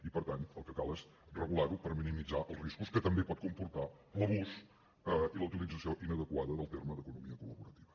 i per tant el que cal és regular ho per minimitzar els riscos que també pot comportar l’abús i la utilització inadequada del terme d’ economia col·laborativa